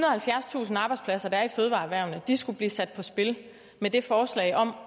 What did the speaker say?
og halvfjerdstusind arbejdspladser der er i fødevareerhvervet skulle blive sat på spil med det forslag om